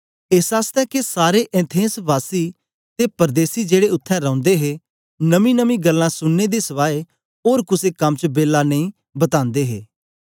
एस आसतै के सारे एथेंस वासी ते परदेसी जेड़े उत्थें रौंदे हे नमींनमीं गल्लां सुनने दे सवाय ओर कुसे कम च बेला नेई बतांदे हे